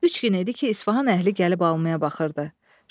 Üç gün idi ki, İsfahan əhli gəlib almaya baxırdı.